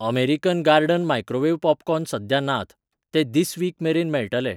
American garden microwave popcorn सद्या नात, ते धिस वीक मेरेन मेळटले.